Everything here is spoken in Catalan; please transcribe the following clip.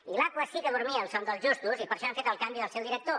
i l’aquas sí que dormia el son dels justos i per això hem fet el canvi del seu director